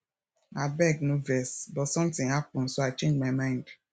abeg no vex but something happen so i change my mind